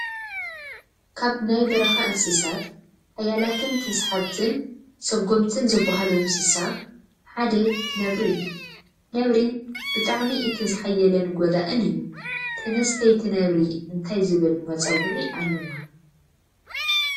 ካብ ናይ በረካ እንስሳት ሓያላትንተሳሓትብትን ሰጎምትን ዝበሃሉ እንስሳ ሓደ ነብሪ እዩ ነብሪ ብጣዕሚ እቲ ዝሓየለን ጎዳኢን እዩ። ተነስተይቲ ነብሪ እንታይ ዝብል መፀዊዒ ኣለዋ ?